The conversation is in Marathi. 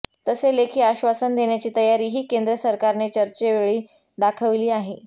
तसे लेखी आश्वासन देण्याची तयारीही केंद्र सरकारने चर्चेवेळी दाखविली आहे